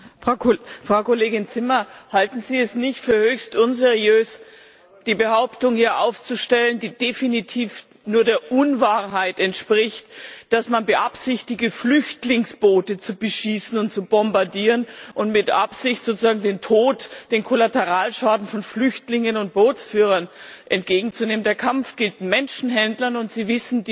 Frau Kollegin Zimmer, halten Sie es nicht für höchst unseriös, hier die Behauptung aufzustellen, die definitiv nur der Unwahrheit entspricht, dass man beabsichtige, Flüchtlingsboote zu beschießen und zu bombardieren, und mit Absicht sozusagen den Tod, den Kollateralschaden von Flüchtlingen und Bootsführern in Kauf nimmt? Der Kampf gilt Menschenhändlern, und Sie wissen das.